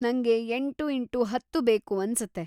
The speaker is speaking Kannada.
ನಂಗೆ ಎಂಟು ಇಂಟು ಹತ್ತು ಬೇಕು ಅನ್ಸತ್ತೆ.